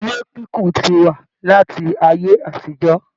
Ilé kíkún tí wá láti ayé àtijọ.